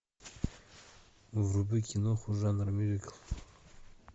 вруби киноху жанр мюзикл